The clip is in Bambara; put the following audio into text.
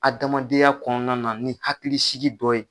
Adamadenya kɔnɔna na ni hakilisigi dɔ ye.